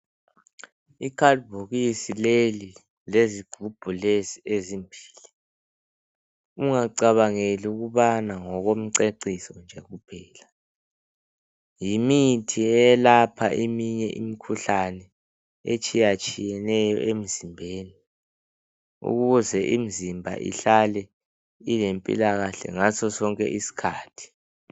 Icard bhokisi leli lezigubhu ezimbili ungacabangeli ukubana ngokomceciso nje kuphela yimithi eyelapha eminye imikhuhlane etshiya tshiyeneyo emzimbeni ukuze imizimba ihlale ilempilakahle ngaso sonke iskhathi